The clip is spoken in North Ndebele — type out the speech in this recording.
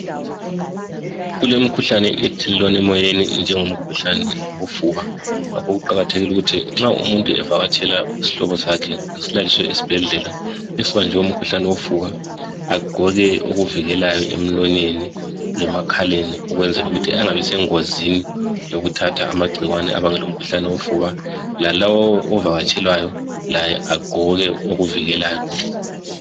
Kulemikhuhlane ethelelwana emoyeni njengomkhuhlane wofuba, ngakho kuqakathekile ukuthi nxa umuntu evakatshela isihlobo sakhe esilaliswe esibhedlela esibanjwe umkhuhlane wofuba, agqoke okuvikelayo emlonyeni lemakhaleni ukwenzela ukuthi angabisengozini yokuthatha amagcikwane abangela umkhuhlane wofuba. Lalowo ovakatshelwayo laye agqoke okuvikelayo.